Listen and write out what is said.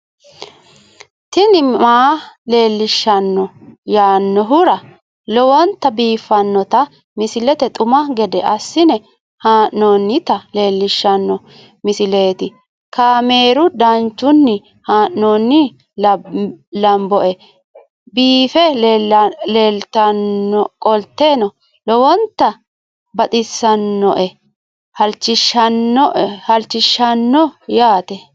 tini maa leelishshanno yaannohura lowonta biiffanota misile xuma gede assine haa'noonnita leellishshanno misileeti kaameru danchunni haa'noonni lamboe biiffe leeeltannoqolten lowonta baxissannoe halchishshanno yaate